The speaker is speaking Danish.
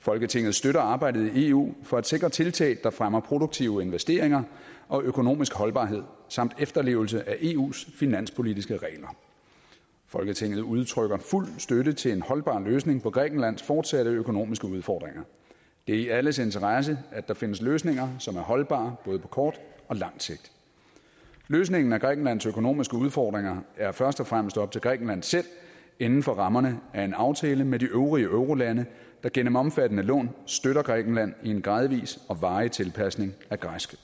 folketinget støtter arbejdet i eu for at sikre tiltag der fremmer produktive investeringer og økonomisk holdbarhed samt efterlevelse af eus finanspolitiske regler folketinget udtrykker fuld støtte til en holdbar løsning på grækenlands fortsatte økonomiske udfordringer det er i alles interesse at der findes løsninger som er holdbare både på kort og langt sigt løsningen af grækenlands økonomiske udfordringer er først og fremmest op til grækenland selv inden for rammerne af en aftale med de øvrige eurolande der gennem omfattende lån støtter grækenland i en gradvis og varig tilpasning af græsk